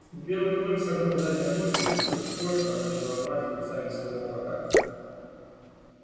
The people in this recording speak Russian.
белый клык согнул задние ноги и как кошка начал рвать когтями своего врага